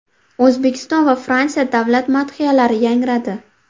O‘zbekiston va Fransiya davlat madhiyalari yangradi.